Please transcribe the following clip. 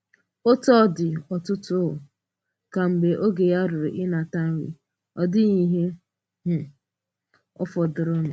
Òtù ọ́ dị̄, ọ̀tụ̀tụ̀ um kwā mgbe ògé̄ ya rùrù̄ rùrù̄ ịnatā nrí̄, ọ̀ dị̀ghì̀ íhè um fọdụrụ̀nụ̄.